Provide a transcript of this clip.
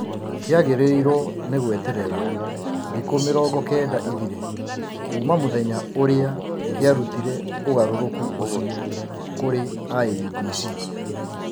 kĩagĩrĩirwo nĩ gweterera thikũ mĩrongo kenda ithire, kuuma mũthenya ũrĩa kĩarutire ũgarũrũku ũcio kũrĩ IEBC.